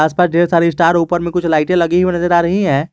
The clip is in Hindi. आसपास ढेर सारी स्टार ऊपर में कुछ लाइटें लगी हुई नजर आ रही हैं।